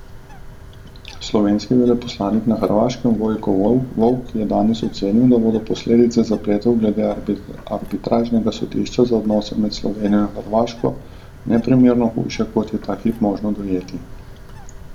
Slovenski veleposlanik na Hrvaškem Vojko Volk je danes ocenil, da bodo posledice zapletov glede arbitražnega sodišča za odnose med Slovenijo in Hrvaško neprimerno hujše, kot je ta hip možno dojeti.